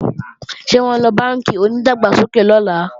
Ṣé wọ́n ńlọ bánkì onídàgbàsókè lọ́la?